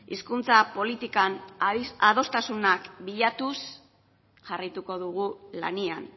hizkuntza politikan adostasunak bilatuz jarraituko dugu lanean